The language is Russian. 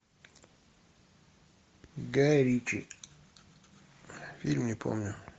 гай ричи фильм не помню